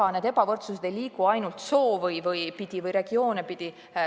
Ega see ebavõrdsus ei liigu ainult sugusid või regioone pidi.